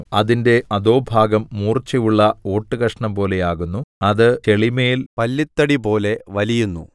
അതിന്റെ അധോഭാഗം മൂർച്ചയുള്ള ഓട്ടുകഷണംപോലെയാകുന്നു അത് ചെളിമേൽ പല്ലിത്തടിപോലെ വലിയുന്നു